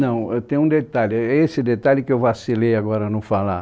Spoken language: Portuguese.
Não, tem um detalhe, e esse detalhe que eu vacilei agora não falar.